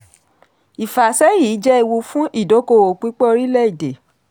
ìfàsẹ́yìn yìí jẹ́ ewu fún ìdókòòwò pípẹ́ orílẹ̀-èdè.